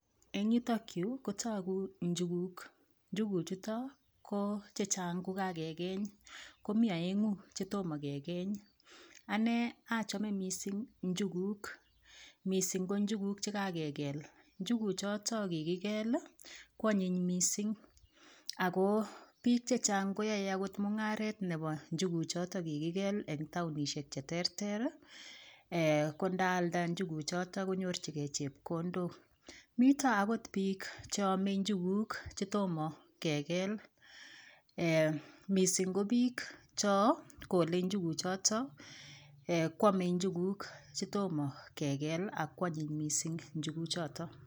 Eng yutokyu kotoku njuguk njuguchuto ko Chechang kokakekeny komii oengu chetomo kekeny anee achome mising njuguk mising ko njuguk chekakekol njuguchuto kikikel koanyiny mising ako piik chechang koyoe akot mungaret nebo njuguchuto kikikel eng taonishek cheterter ko ndaalda njuguchuto konyorchingei chepkondok mito akot piik cheomei njuguk chetomo kekel mising ko piik chokolei njuguchuto koomei njuguk chetomo kekel akoonyiny mising njuguchuto.